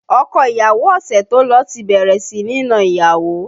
Ọkọ ìyàwó ọ̀sẹ̀ tó lọ ti bẹ̀rẹ̀ sí ní na ìyàwó